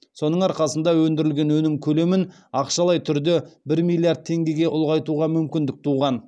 соның арқасында өндірілген өнім көлемін ақшалай түрде бір миллиард теңгеге ұлғайтуға мүмкіндік туған